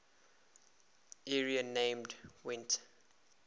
area named gwent